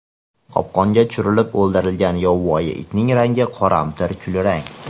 Qopqonga tushirilib o‘ldirilgan yovvoyi itning rangi qoramtir kulrang.